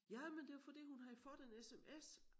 Jamen det var fordi hun havde fået en sms